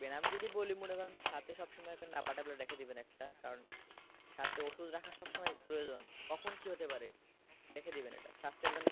আমি যদি বলি মনে করেন সাথে সবসময় একটা নাপা tablet রেখে দিবে একটা কারণ সাথে ওষুধ রাখা সব সময় প্রয়োজন কখন কি হতে পারে রেখে দিবেন এটা স্বাস্থ্যের জন্য।